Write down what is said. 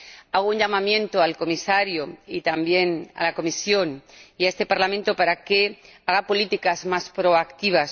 Hago un llamamiento al Comisario, y también a la Comisión y a este Parlamento, para que hagan políticas más proactivas.